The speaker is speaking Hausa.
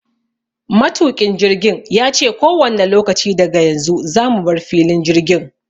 Matuƙin jirgin yace kowanne lokaci daga yanzu zamu bar filin jirgin.